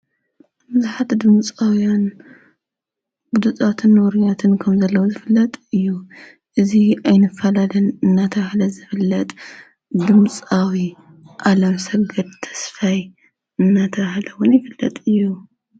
ብዙሓት ድምጻውያን ብፇትን ወሩያትን ከም ዘለዉ ዝፍለጥ እዩ፡፡ እዚ ኣይንፋላለን እናተባህለ ዝፍለጥ ድምጻዊ ኣለም ሰገድ ተስፋይ እናተባህለ ውን ይፍለጥ እዩ፡፡